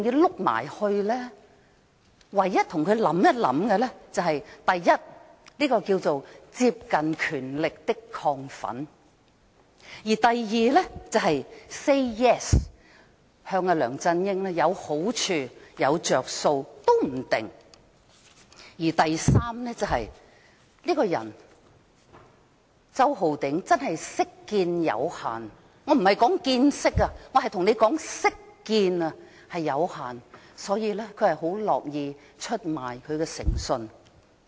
我們唯一想到的是，這是"接近權力的亢奮"；第二，可能向梁振英 "say yes" 會有好處和着數；第三，周浩鼎議員這個人識見有限——我不是說"見識"，而是說"識見"——所以他很樂意出賣誠信。